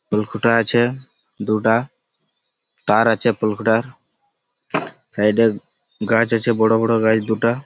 ফুল ফুটাই আছে দুটা তার আছে সাইড এ গাছ আছে বড়ো বড়ো গাছ দুটা --